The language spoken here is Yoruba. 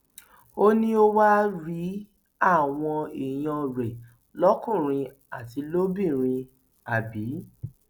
ó ní o wàá rí àwọn èèyàn rẹ lọkùnrin àti lóbìnrin àbí